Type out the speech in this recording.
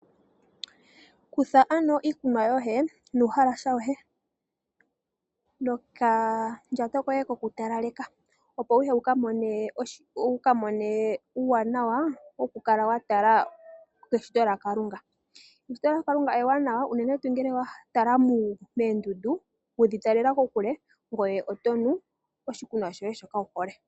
Kutha ano iinima yoye nuuhalasa woye nokandjato koye koku talaleka opo wuye wuka mone uuwanawa woku kala watala eshito lya Kalunga. Eshito lya Kalunga ewanawa unene tuu ngele watala moondundu, wedhi talela kokule ngoye otonu oshikunwa shoye shoka wuhole.